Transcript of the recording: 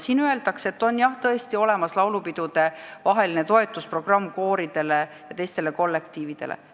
Siin öeldakse, et on jah tõesti olemas laulupidudevaheliseks ajaks toetusprogramm kooridele ja teistele kollektiividele.